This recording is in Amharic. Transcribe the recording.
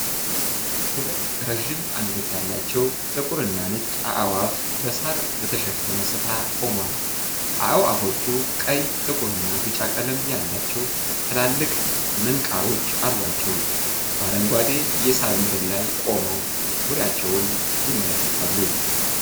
ሁለት ረዥም አንገት ያላቸው ጥቁር እና ነጭ አዕዋፍ በሳር በተሸፈነ ስፍራ ቆመዋል። አዕዋፎቹ ቀይ፣ ጥቁር እና ቢጫ ቀለም ያላቸው ትላልቅ ምንቃሮች አሏቸው። በአረንጓዴ የሳር ምድር ላይ ቆመው ዙሪያቸውን ይመለከታሉ።